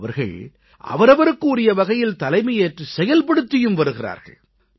இன்று அவர்கள் அவரவருக்கு உரிய வகையில் தலைமையேற்றுச் செயல்படுத்தியும் வருகிறார்கள்